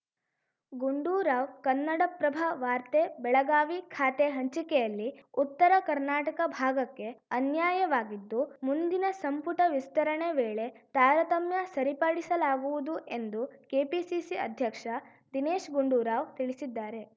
ಗುಂಡೂರಾವ್‌ ಕನ್ನಡಪ್ರಭ ವಾರ್ತೆ ಬೆಳಗಾವಿ ಖಾತೆ ಹಂಚಿಕೆಯಲ್ಲಿ ಉತ್ತರ ಕರ್ನಾಟಕ ಭಾಗಕ್ಕೆ ಅನ್ಯಾಯವಾಗಿದ್ದು ಮುಂದಿನ ಸಂಪುಟ ವಿಸ್ತರಣೆ ವೇಳೆ ತಾರತಮ್ಯ ಸರಿಪಡಿಸಲಾಗುವುದು ಎಂದು ಕೆಪಿಸಿಸಿ ಅಧ್ಯಕ್ಷ ದಿನೇಶ್ ಗುಂಡೂರಾವ್‌ ತಿಳಿಸಿದ್ದಾರೆ